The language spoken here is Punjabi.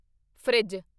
ਫਰਿੱਜ